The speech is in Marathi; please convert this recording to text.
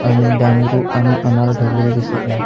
आणि डांगरु आणि अणार ठेवलेले दिसत आहे.